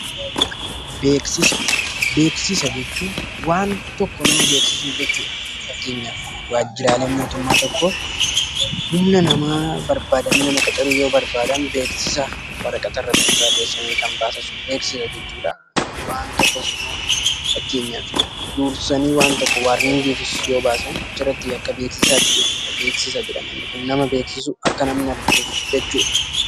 Beeksisa jechuun waan tokko nama beeksisuu jechuudha. Fakkeenyaaf waajjirri mootummaa tokko humna hojjetaa yoo barbaadaan beeksisa waraqaa irratti barreessanii kan baasan beeksisa jechuudha. Akkasumas waarniingii kennuufis beeksisa kan baasan jechuudha.